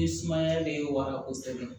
Ni sumaya be wara kosɛbɛ